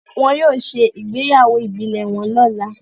Wón yóò ṣe ìgbéyàwó ibilẹ wón lọla